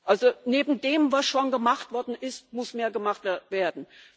Also Neben dem, was schon gemacht worden ist, muss mehr gemacht werden.